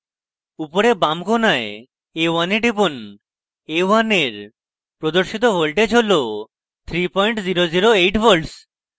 উপরের বাম কোণায় a1 এ টিপুন a1 a1 প্রদর্শিত voltage হল 3008v